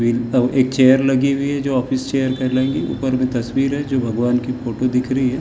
एक चेयर लगी हुई है जो ऑफिस चेयर कहलाएगी ऊपर में तस्वीर है जो भगवान की फोटो दिख रही है।